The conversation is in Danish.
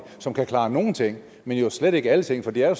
som kan klare nogle ting men jo slet ikke alle ting for det er jo